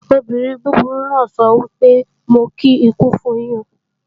Obìnrin búburú náà sọ wípé "Mo kí ikú fun yín"